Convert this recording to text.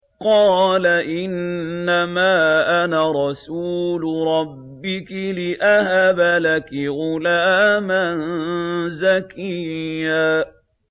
قَالَ إِنَّمَا أَنَا رَسُولُ رَبِّكِ لِأَهَبَ لَكِ غُلَامًا زَكِيًّا